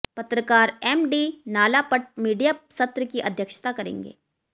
पत्रकार M D Nalapat media सत्र की अध्यक्षता करेंगे